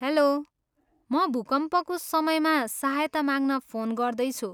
Hello, म भूकम्पको समयमा सहायता माग्न फोन गर्दैछु।